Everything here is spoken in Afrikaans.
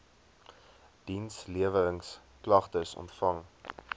diensleweringsk lagtes ontvang